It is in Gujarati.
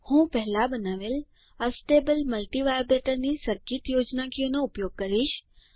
હું પહેલાં બનાવેલ છે એસ્ટેબલ મલ્ટિવાઇબ્રેટર ની સર્કિટ યોજનાકીયનો ઉપયોગ કરીશ